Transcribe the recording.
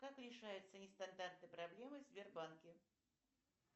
как решаются нестандартные проблемы в сбербанке